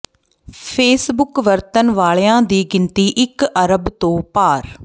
Facebook ਵਰਤਣ ਵਾਲਿਆਂ ਦੀ ਗਿਣਤੀ ਇਕ ਅਰਬ ਤੋਂ ਪਾਰ